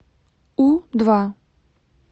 у два